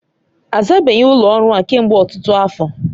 A zabeghi ụlọ ọrụ a kemgbe ọtụtụ afọ